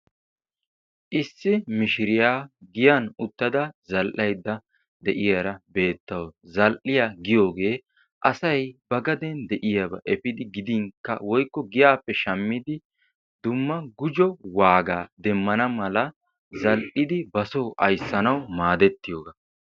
issi mishiriyaa giyan uttada zal"aydda de'iyaara beettawus. zal"iyaa giyoogee asay ba gaaden de'iyaaba efidi gidinkka woykko giyaappe shammidi gidinkka dumma gujo waagaa demmana mala zal"idi ba soo aysanawu maadetiyooba.